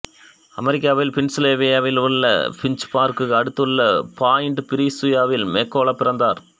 அமெரிக்காவின் பென்சில்வேனியாவிலுள்ள பிட்சுபர்குக்கு அடுத்துள்ள பாயிண்டு பிரீசுவில் மெக்கல்லோ பிறந்தார்